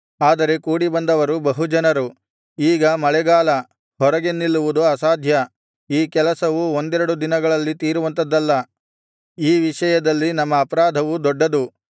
ಆದರೆ ಕೂಡಿಬಂದವರು ಬಹು ಜನರು ಈಗ ಮಳೆಗಾಲ ಹೊರಗೆ ನಿಲ್ಲುವುದು ಅಸಾಧ್ಯ ಈ ಕೆಲಸವು ಒಂದೆರಡು ದಿನಗಳಲ್ಲಿ ತೀರುವಂಥದಲ್ಲ ಈ ವಿಷಯದಲ್ಲಿ ನಮ್ಮ ಅಪರಾಧವು ದೊಡ್ಡದು